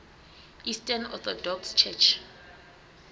eastern orthodox church